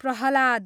Prahlad